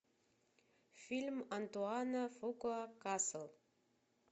фильм антуана фукуа касл